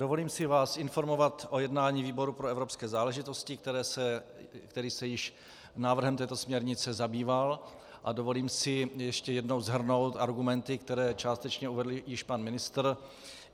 Dovolím si vás informovat o jednání výboru pro evropské záležitosti, který se již návrhem této směrnice zabýval, a dovolím si ještě jednou shrnout argumenty, které částečně uvedl již pan ministr.